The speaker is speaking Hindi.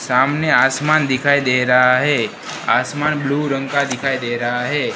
सामने आसमान दिखाई दे रहा है आसमान ब्लू रंग का दिखाई दे रहा है।